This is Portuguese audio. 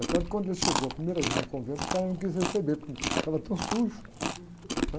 Até que, quando ele chegou a primeira vez no convento, o cara não quis receber, porque estava tão sujo.